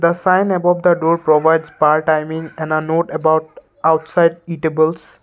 sign above the door provides bar timing and a note about outside eatables.